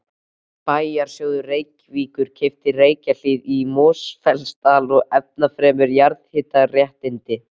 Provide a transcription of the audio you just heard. Bæjarsjóður Reykjavíkur keypti Reykjahlíð í Mosfellsdal og ennfremur jarðhitaréttindi